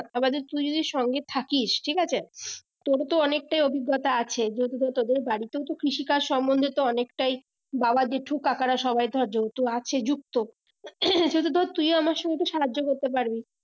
আবার যদি তুই যদি সঙ্গে থাকিস ঠিক আছে তোরও তো অনেকটাই অভিজ্ঞতা আছে যদি ধর তোদের বাড়িতে কৃষিকাজ সম্বন্ধে তো অনেকটাই বাবা জেঠু কাকারা সবাই ধর যেহেতু আছে যুক্ত যদি ধর তুইও আমার সঙ্গে সাহায্য করতে পারবি